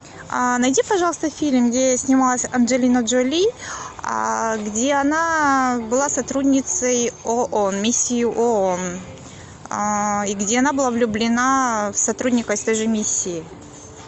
найди пожалуйста фильм где снималась анджелина джоли где она была сотрудницей оон миссии оон и где она была влюблена в сотрудника из той же миссии